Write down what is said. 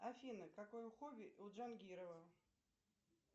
афина какое хобби у джангирова